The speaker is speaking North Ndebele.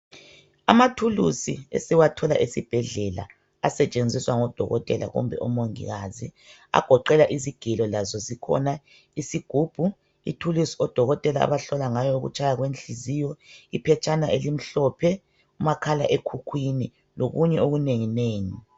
Amathulusi esiwathola esibhedlela asetshenziswa ngodokotela kumbe omongikazi. Agoqela izigelo lazo zikhona isigubhu, ithulusi odokotela abahlola ngayo ukutshaya kwenhliziyo, iphetshana elimhlophe, umakhala ekhukhwini lokunye okunengi nengi.